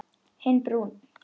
Hinn brúnn.